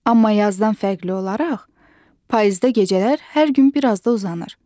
Amma yazdan fərqli olaraq payızda gecələr hər gün biraz da uzanır.